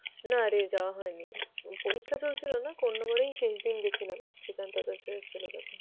না রে যাওয়া হয়নি, পরীক্ষা চলছিল না, কোন্নগরেই শেষ দিন গেছিলাম শ্রীকান দাদার ছিলো যখন।